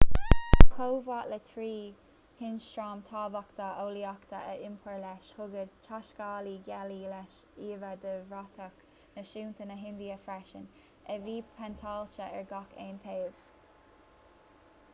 chomh maith le trí hionstraim thábhachtacha eolaíochta a iompar leis thug an taiscéalaí gealaí leis íomha de bhratach náisiúnta na hindia freisin a bhí péinteáilte ar gach aon taobh